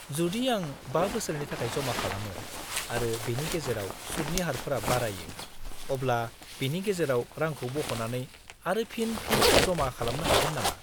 -जुदि आं 5 बोसोरनि थाखाय जमा खालामो, आरो बेनि गेजेराव, सुतनि हारफोरा बारायो, अब्ला बेनि गेजेराव रांखौ बख'नानै आरो फिन फिन जमा खालामनो हागोन नामा?